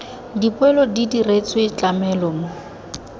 dipoelo di diretswe tlamelo mo